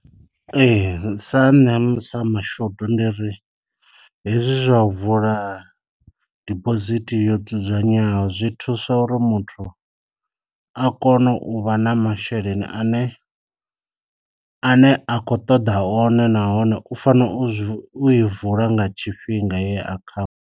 Ee sa nṋe sa mashudu ndi ri hezwi zwa u vula dibosithi yo dzudzanywaho zwi thusa uri muthu a kone u vha na masheleni ane a ne a khou ṱoḓa one nahone u fanela u i vula nga tshifhinga heyo akhau.